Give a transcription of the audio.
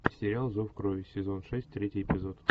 сериал зов крови сезон шесть третий эпизод